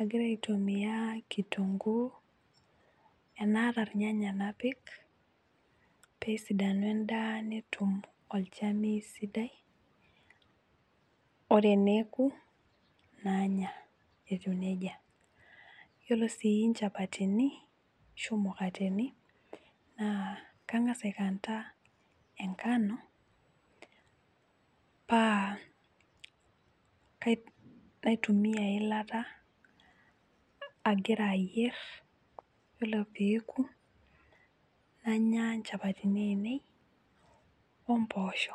agira aitumiya kitunguu tenaata ilnyanya napik peesidanu endaa netum olchamei sidai. Ore eneoku nanya etiu nejia, yiolo sii injapatini ashu imukateni naa kangas aikanta engano, naitimiya eyilata agira ayier ore eoku, nanya injapatini ainei omboosho.